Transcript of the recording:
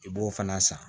I b'o fana san